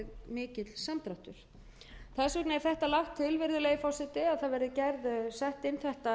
mikill samdráttur þess vegna er þetta lagt til virðulegi forseti að það verði sett inn þetta